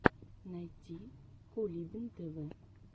найти кулибин тв